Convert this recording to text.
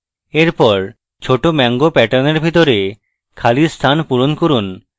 এরপর ছোট mango প্যাটার্নের ভেতরে খালি স্থান পূরণ করি